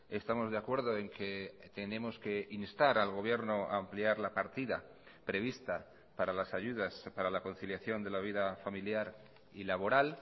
estamos de acuerdo en que tenemos que instar al gobierno a ampliar la partida prevista para las ayudas para la conciliación de la vida familiar y laboral